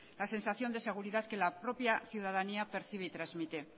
la sensación de seguridad que la propia ciudadanía percibe y transmite